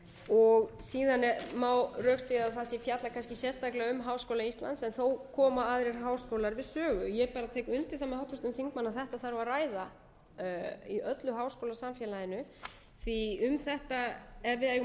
sölum síðan má rökstyðja það sem fjallar kannski sérstaklega um háskóla íslands en þó koma aðrir háskólar við sögu ég tek undir það með háttvirtum þingmanni að þetta þarf að ræða í öllum háskólasamfélaginu því ef við eigum